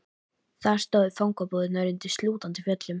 Þar stóðu fangabúðirnar undir slútandi fjöllum.